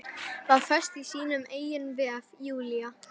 Var föst í sínum eigin vef, Júlía.